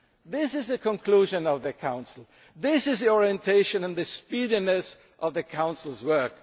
issue. This is a conclusion of the Council. This is the orientation and the speediness of the Council's